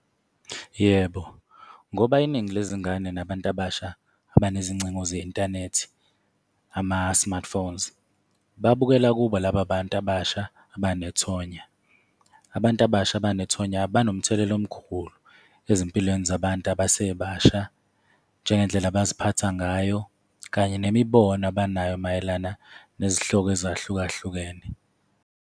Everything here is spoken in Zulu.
Yebo, ngoba iningi lezingane nabantu abasha abanezingcingo ze-inthanethi, ama-smartphones, babukela kubo laba bantu abasha abanethonya. Abantu abasha abanethonya banomthelela omkhulu ezimpilweni zabantu abasebasha, njengendlela abaziphatha ngayo, kanye nemibono abanayo mayelana nezihloko ezahlukahlukene.